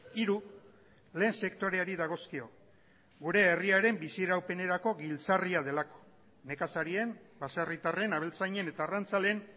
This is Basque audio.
hiru lehen sektoreari dagozkio gure herriaren biziraupenerako giltzarria delako nekazarien baserritarren abeltzainen eta arrantzaleen